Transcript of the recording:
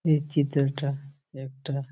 এই চিত্র টা একটা --